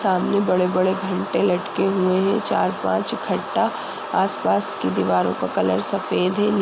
सामने बड़े बड़े घंटे लटके हुए हैं। चार पांच इकट्टा आस पास की दीवारों का कलर सफेद है। नी --